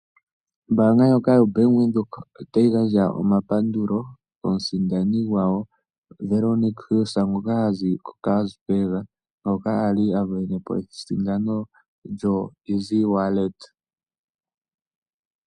Ombaanga ndjoka yoBank Windhoek otayi gandja omapandulo komusindani gwawo Veronica Hill ngoka hazi koKarasburg ngoka ali a venepo esindano lyoEasy wallet.